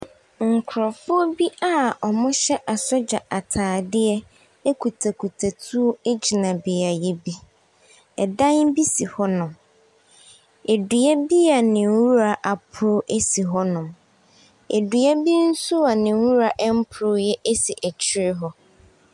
Nkrɔfo bi a wɔhyɛɛ asogya ataadeɛ kutakuta tuo gyina beaeɛ bi. Ɛdan bi si hɔnom. Edua bi a ne nwura aporo si hɔnom. Edua bi a ne nwura mpoeɛ nso si akyire hɔ.